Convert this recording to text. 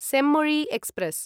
Chemmozhi express